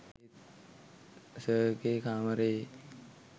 සර්ගෙ කාමරයේ